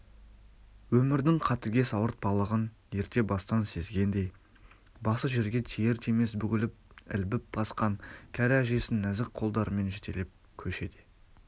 өмірдің қатыгез ауыртпалығын ерте бастан сезгендей басы жерге тиер-тимес бүгіліп ілбіп басқан кәрі әжесін нәзік қолдарымен жетелеп көшеде